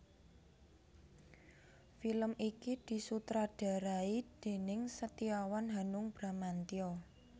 Film iki disutradharai déning Setiawan Hanung Bramantyo